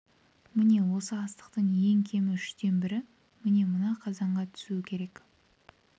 міне осы астықтың ең кемі үштен бірі міне мына қазанға түсуі керек